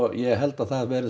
ég held að það verði